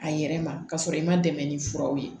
A yɛrɛ ma k'a sɔrɔ i ma dɛmɛ ni furaw ye